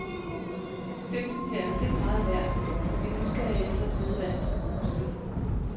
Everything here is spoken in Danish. Dimsen her er vist ikke meget værd, men vi er nysgerrige efter at vide, hvad den skal bruges til.